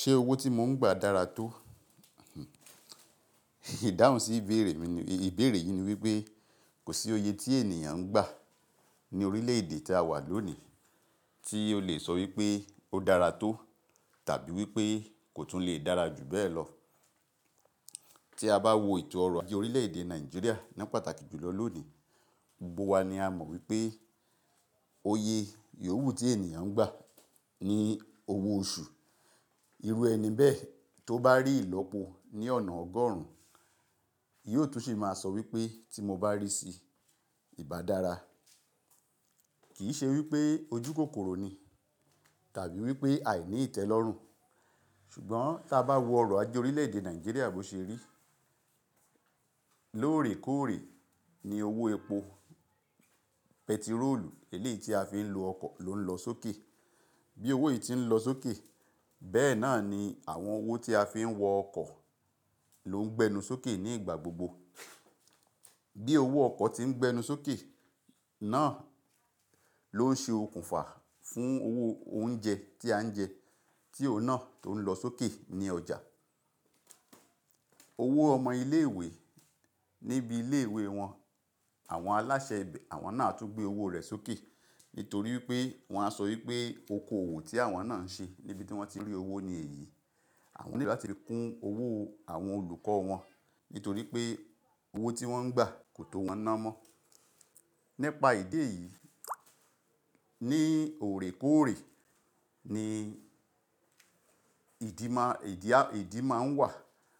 Ṣé owó tí mo ń gbà dára tó? Ìdáhùn sí ìbéèrè mi ni, ìbéèrè yìí ni wípé kò sí oye tí ènìyàn ń gbà ní orílẹ̀ èdè tí a wà lónìí tí o lè sọ wípé ó dára tó tàbí wípé kò tún lè dára jù bẹ́ẹ̀ lọ. Tí a bá wo ètò ọrọ̀ ajé orílẹ̀ èdè Nàìjíríà ní pàtàkì jù lọ lónìí, gbogbo wa ni a mọ̀ wípé oyè yòwú tí ènìyàn ń gbà ni owó oṣù. Irú ẹni bẹ́ẹ̀ tó bá rí ìlọ́po ní ọ̀nà ọgọ́rùn, yóò tún sì máa sọ wípé tí mo bá rí i sí ìbá dára. Kì í ṣe wípé ojú kòkòrò ni tàbí wípé àìní ìtẹ́ lọ́rùn. Ṣùgbọ́n tí a bá wo ọrọ̀ ajé orílẹ̀ èdè Nàìjíríà bó ṣe rí, lóòrèkóòrè ni owó epo, pẹtirólù, èlé tí a fi ń lo ọkọ̀ ló ń lọ sókè. Bí owó yìí ti ń lọ sókè, bẹ́ẹ̀ náà ni àwọn owó tí a fi ń wọ ọkọ̀ ló ń gbẹnu sókè ní ìgbà gbogbo. Bí owó ọkọ̀ tí ń gbẹnu sókè náà ló ń ṣe okùnfà fún owó oúnjẹ tí à ń jẹ, tí òun náà tó ń lọ sókè ní ọjà. Owó ọmọ ilé ìwé níbi ilé ìwé wọn, àwọn aláṣẹ ibè, àwọn náà á tún gbé owó rẹ̀ sókè. Nítorí wípé wọ́n á sọ wípé oko òwò tí àwọn náà ń ṣe níbi tí wọ́n ti rí owó ni èyí. Àwọn ni láti fi kún owó àwọn olùkọ́ wọn nítorí pé owó tí wọ́n ń gbà kò tó wọn ná mọ́. Nípa ìdí èyí, ní òrèkóòrè ni ìdí má, ìdí a, ìdí máa ń wà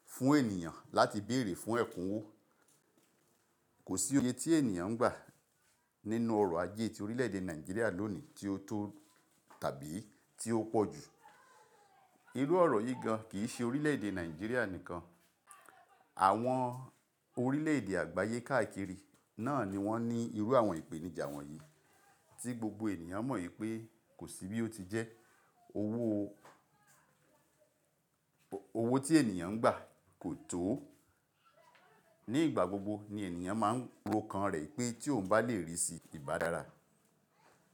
fún ènìyàn láti bèèrè fún ẹ̀kúnwó. Kò sí oye tí ènìyàn ń gbà nínú ọrọ̀ ajé ti orílẹ̀ èdè Nàìjíríà lónìí tí ó tó tàbí tí ó pọ̀ jù. Irú ọ̀rọ̀ yìí gan kì í ṣe orílẹ̀ èdè Nàìjíríà nìkan. Àwọn orílẹ̀ èdè àgbáyé káàkiri náà ni wọ́n ní irú àwọn ìpèníjà wọ̀nyí tí gbogbo ènìyàn mọ̀ wípé kò sí bí ó ti jẹ́. Owó, owó tí ènìyàn ń gbà kò tó. Ní ìgbà gbogbo ni ènìyàn máa ń ro kan rẹ̀ pé tí òun bá le rí sí ìbá dára.